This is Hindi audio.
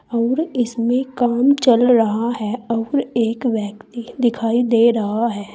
और इसमें काम चल रहा है और एक व्यक्ति दिखाई दे रहा है।